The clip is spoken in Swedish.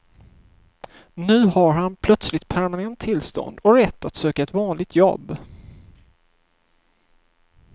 Nu har han plötsligt permanent tillstånd och rätt att söka ett vanligt jobb.